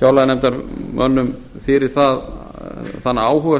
fjárlaganefndarmönnum fyrir þann áhuga